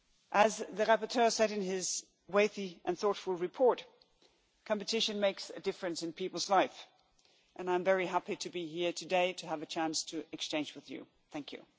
As the rapporteur said in his weighty and thoughtful report, competition makes a difference in people's lives and I am very happy to be here today to have a chance to exchange ideas with you.